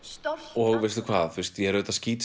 og veistu hvað ég er auðvitað